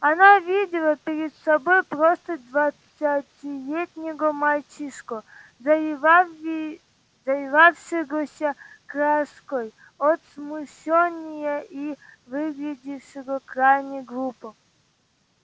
она видела перед собой просто двадцатилетнего мальчишку заливавшегося краской от смущения и выглядевшего крайне глупо